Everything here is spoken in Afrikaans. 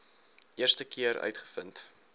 eerste keer uitgevind